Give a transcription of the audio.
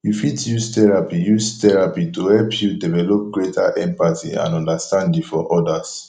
you fit use therapy use therapy to help you develop greater empathy and understanding for others